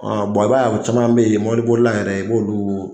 i b'a ye u caman bɛ yen mobilibolila yɛrɛ i b'olu